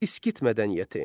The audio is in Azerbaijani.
İskit mədəniyyəti.